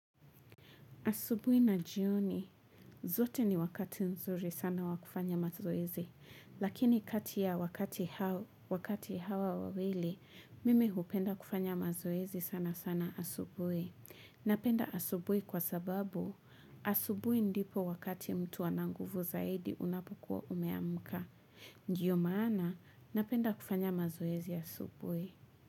Asubuhi na jioni, zote ni wakati nzuri sana wa kufanya mazoezi, lakini kati ya wakati hawa wawili, mimi hupenda kufanya mazoezi sana sana asubuhi. Napenda asubuhi kwa sababu, asubuhi ndipo wakati mtu ana nguvu zaidi unapokuwa umeamka. Ndiyo maana, napenda kufanya mazoezi asubuhi.